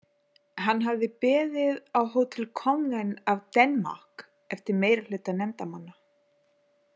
Hann hafði beðið á Hotel Kongen af Danmark eftir meirihluta nefndarmanna.